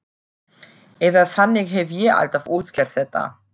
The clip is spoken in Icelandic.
Eða þannig hef ég alltaf útskýrt þetta.